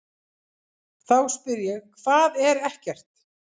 Þá spyr ég: HVAÐ ER EKKERT?